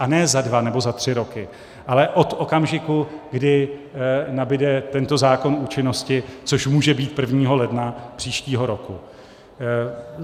A ne za dva nebo za tři roky, ale od okamžiku, kdy nabyde tento zákon účinnosti, což může být 1. ledna příštího roku.